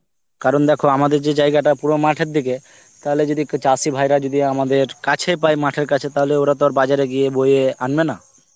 কারণ দেখো আমাগে যে জায়গাটা পুরো মাঠের দিকে, তাহলে যদি কি~ চাষী ভাইরা যদি আমাদের কাছে পায়, মাঠের কাছে তাহলে ওরা তো আর বাজারে গিয়ে বয়ে আনবে না.